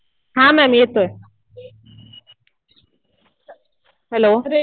हा मॅम येतोय. हॅलो